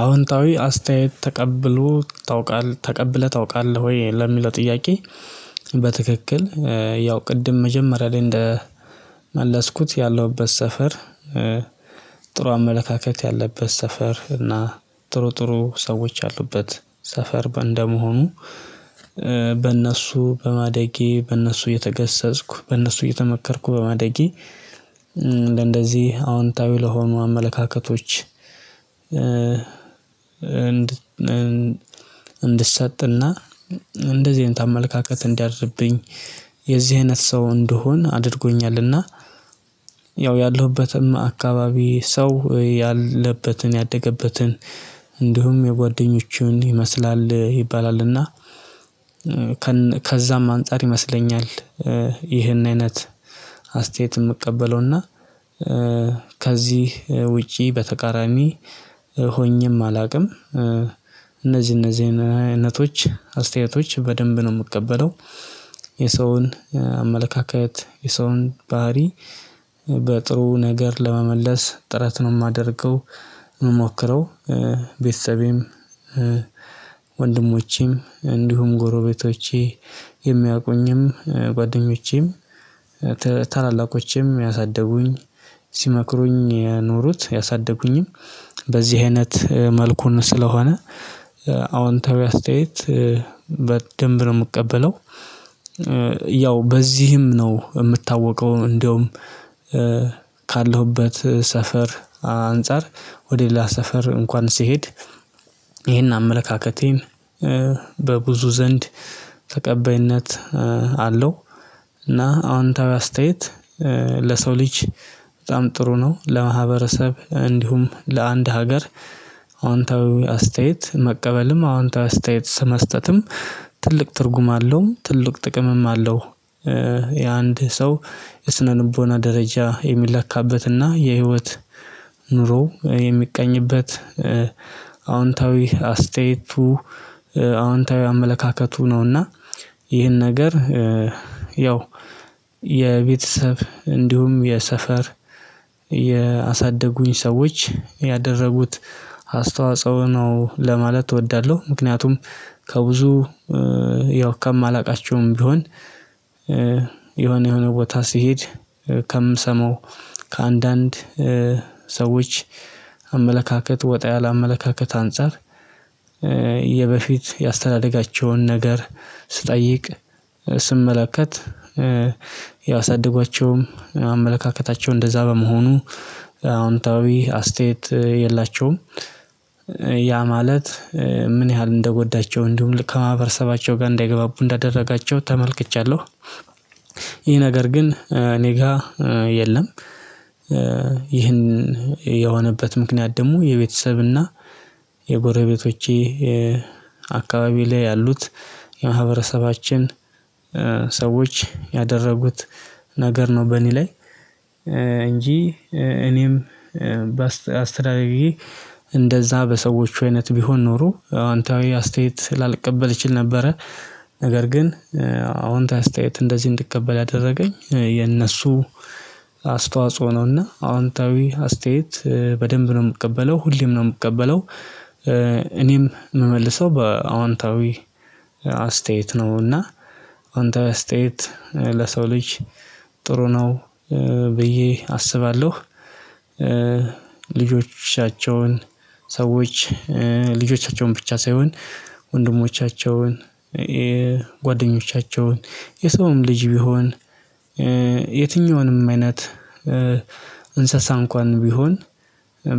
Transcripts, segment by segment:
አዎንታዊ አስተያየት ተቀብሎ ታውቃለህ ተቀብለህ ታውቃለህ ወይ ለሚለው ጥያቄ? በትክክል ያው ቅድም መጀመሪያ ላይ እንደመለስኩት ያለሁበት ሰፈር። ጥሩ አመለካከት ያለበት ሰፈር እና ጥሩ ጥሩ ሰዎች ያሉበት ሰፈር እንደመሆኑ በእነሱ በማደጌ በእነሱ እየተገሰጽኩ በእነሱ እየተመከርኩ በማደጌ እንደነዚህ አዎንታዊ ለሆኑ አመለካከቶች። እንድሰጥና እንደዚህ አይነት አመለካከት እንዲያድርብኝ የዚህ አይነት ሰው እንደሆን አድርጎኛልና። እና ያው ያለሁበትም አካባቢ ሰው ያለበትን ያደገበትን እንዲሁም የጓደኞቹን ይመስላል ይባላልና። ከዛም አንፃር ይመስለኛል። ይህን አይነት አስተያየት የምቀበለው እና ከዚህ ውጪ በተቃራሚ ሆኜም አላውቅም። እነዚህ እነዚህ አይነቶች አስተያየቶች በደንብ ነው የምቀበለው። የሰውን አመለካከት የሰውን ባህሪ በጥሩ ነገር ለመመለስ ጥረት ነው የማደርገው የምሞክረው። ቤተሰቤም ወንድሞቼም እንዲሁም ጎሮቤቶቼ የሚያውቁኝም ጓደኞቼም ታላላቆቼም ያሳደጉኝ ሲመክሩኝ የኖሩት ያሳደጉኝም በዚህ አይነት መልኩን ስለሆነ አዎንታዊ አስተያየት በደንብ ነው የምቀበለው። ያው በዚህም ነው የምታወቀው። እንደውም ካለሁበት ሰፈር አንፃር ወደ ሌላ ሰፈር እንኳን ስሄድ። ይሄን አመለካከቴም በብዙ ዘንድ ተቀባይነት አለው። እና አዎንታዊ አስተያየት ለሰው ልጅ በጣም ጥሩ ነው ለማህበረሰብ እንዲሁም ለአንድ ሀገር አንተ አስተያየት መቀበልም አንተ አስተያየት መስጠትም ትልቅ ትርጉም አለው ትልቅ ጥቅምም አለው። የአንድ ሰው የስነ ልቦና ደረጃ የሚለካበትና የህይወት ኑሮ የሚቀኝበት አወንታዊ አስተያየቱ አዎንታዊ አመለካከቱ ነው። እና ይህን ነገር ያው የቤተሰብ እንዲሁም የሰፈር ያሳደጉኝ ሰዎች ያደረጉት አስተዋጽኦ ነው ለማለት እወዳለሁ። ምክንያቱም ከብዙ ያው ከማላውቃቸውም ቢሆን የሆነ የሆነ ቦታ ስሄድ ከአንዳንድ ሰዎች አመለካከት ወጣ ያለ አመለካከት አንፃር የበፊት የአስተዳደጋቸውን ነገር ስጠይቅ ስመለከት ያሳድጓቸውም አመለካከታቸው እንደዛ በመሆኑ አዎንታዊ አስተያየት የላቸውም። ያ ማለት ምን ያህል እንደጎዳቸው እንዲሁም ከማህበረሰባቸው ጋር እንዳይግባቡ እንዳደረጋቸው ተመልክቻለሁ። ይህ ነገር ግን እኔ ጋር የለም። ይህን የሆነበት ምክንያት ደግሞ የቤተሰብና የጎረቤቶቼ አካባቢ ላይ ያሉት የማህበረሰባችን ሰዎች ያደረጉት ነገር ነው። በእኔ ላይ እንጂ እኔም በአስተዳደጌ እንደዛ በሰዎች አይነት ቢሆን ኖሮ አንተ አዊ አስተያየት ስላልቀበል ይችል ነበረ። ነገር ግን አሁን ታስተያየት እንደዚህ እንድትቀበል ያደረገኝ የነሱ አስተዋጽኦ ነውና አዎንታዊ አስተያየት በደንብ ነው የምቀበለው ሁሌም ነው የምቀበለው። የምመልሰው በአዋንታዊ አስተያየት ነው እና አዋንታዊ አስተያየት ለሰው ልጅ ጥሩ ነው ብዬ አስባለሁ። ልጆቻቸው ልጆቻቸውን ሰዎች ልጆቻቸውን ብቻ ሳይሆን ወንድሞቻቸውን ጓደኞቻቸውን የሰውም ልጅ ቢሆን የትኛውንም አይነት እንስሳ እንኳን ቢሆን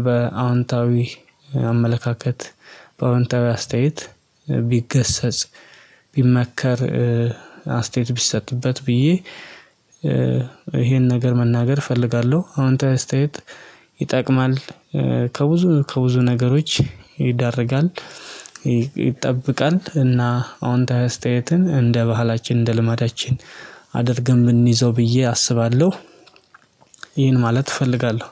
በአዎንታዊ አመለካከት በአዎንታዊ አስተያየት ቢገሰጽ ቢመከር አስተያየት ቢሰጥበት ብዬ ይሄን ነገር መናገር እፈልጋለሁ። አወንታዊ አስተያየት ይጠቅማል ከብዙ ከብዙ ነገሮች ይዳርጋል ይጠብቃል እና አዎንታዊ አስተያየትን እንደ ባህላችን እንደ ልማዳችን አድርገን ብንይዘው ብዬ አስባለሁ። ማለት እፈልጋለሁ።